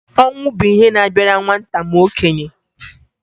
Ọnwụ bụ ihe na-abịara nwata ma okenye